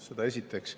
Seda esiteks.